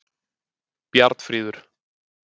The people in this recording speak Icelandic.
Bjarnfríður